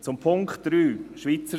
Zum Punkt 3